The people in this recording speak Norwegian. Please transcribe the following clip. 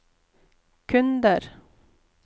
kunder